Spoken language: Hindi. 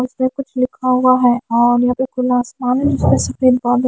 उसमे में कुछ लिखा हुआ है और यहां पे खुला आसमान सफेद --